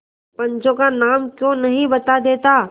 पंचों का नाम क्यों नहीं बता देता